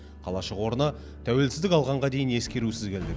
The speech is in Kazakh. қалашық орны тәуелсіздік алғанға дейін ескерусіз келген